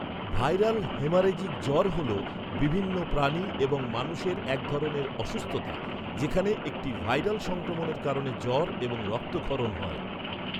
Viral haemorrhagic জ্বর হল বিভিন্ন প্রাণী এবং মানুষের এক ধরনের অসুস্থতা যেখানে একটি ভাইরাল সংক্রমণের কারণে জ্বর এবং রক্তক্ষরণ হয়।